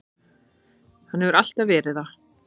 Hann hefur alltaf verið það.